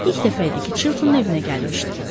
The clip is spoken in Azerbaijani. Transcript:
Polyanna ilk dəfə idi ki, Chiltonun evinə gəlmişdi.